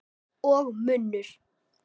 Og munnur